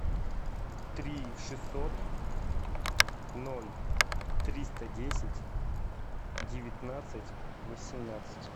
три шестьсот ноль триста десять девятнадцать восемнадцать